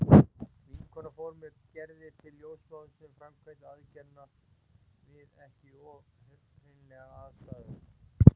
Vinkona fór með Gerði til ljósmóður sem framkvæmdi aðgerðina við ekki of hreinlegar aðstæður.